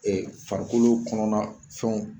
Ee farikolo kɔnɔna fɛnw